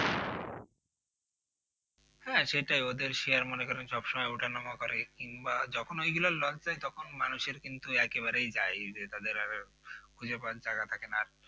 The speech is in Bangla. হ্যাঁ সেটাই ওদের share মনে করেন সব সময় ওঠানামা করে কিংবা যখন ওইগুলো loss মানুষের কিন্তু একেবারেই যায় যে তাদের একেবারে খুঁজে পাওয়ার টাকা থাকেনা